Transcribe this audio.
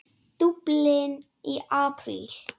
Dublin í apríl